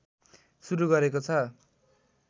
सुरु गरेको छ